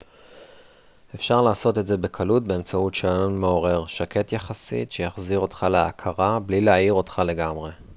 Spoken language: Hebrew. אפשר לעשות את זה בקלות באמצעות שעון מעורר שקט יחסית שיחזיר אותך להכרה בלי להעיר אותך לגמרי